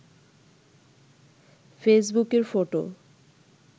ফেসবুকের ফটো